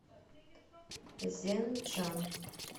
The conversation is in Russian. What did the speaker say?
зенджан